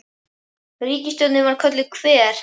Ríkisstjórnin var kölluð Hver?